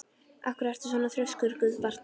Af hverju ertu svona þrjóskur, Guðbjartur?